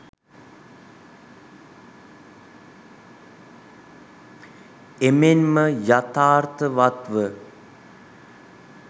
එමෙන්ම යථාර්ථවත්ව